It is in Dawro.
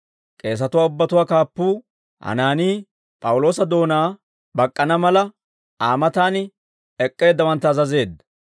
K'eesatuwaa ubbatuwaa kaappuu Hanaanii, P'awuloosa doonaa bak'k'ana mala, Aa matan ek'k'eeddawantta azazeedda.